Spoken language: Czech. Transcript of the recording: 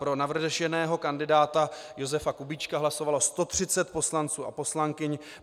Pro navrženého kandidáta Josefa Kubíčka hlasovalo 130 poslanců a poslankyň.